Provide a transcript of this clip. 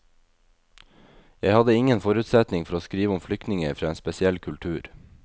Jeg hadde ingen forutsetning for å skrive om flyktninger fra en spesiell kultur.